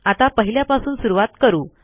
आता पहिल्यापासून सुरूवात करू